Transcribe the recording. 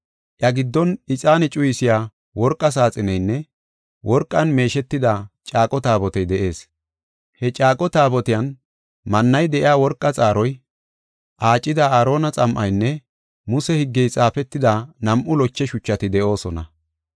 Iya giddon ixaane cuyisiya worqa saaxineynne worqan meeshetida caaqo Taabotey de7ees. He caaqo Taabotiyan mannay de7iya worqa xaaroy, aacida Aarona xam7aynne Muse higgey xaafetida nam7u loche shuchati de7oosona.